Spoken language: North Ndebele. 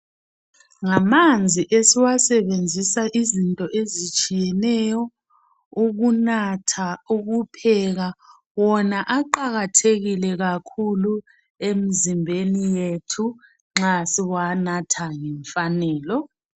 Ngamanzi esiwasebenzisa izinto ezitshiyeneyo, ukunatha, ukupheka wona aqakathekileyo emzimbeni yethu nxa siwanatha ngemfanelo.